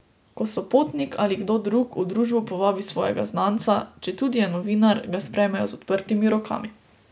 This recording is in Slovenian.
Ko Sopotnik ali kdo drug v družbo povabi svojega znanca, četudi je novinar, ga sprejmejo z odprtimi rokami.